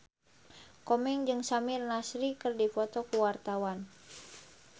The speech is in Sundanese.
Komeng jeung Samir Nasri keur dipoto ku wartawan